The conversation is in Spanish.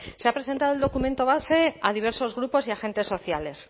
se ha presentado el documento base a diversos grupos y agentes sociales